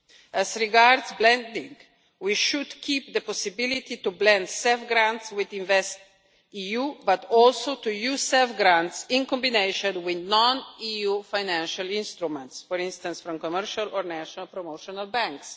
As regards blending, we should keep the possibility to blend CEF grants with InvestEU, but also to use CEF grants in combination with non EU financial instruments, for instance from commercial or national promotional banks.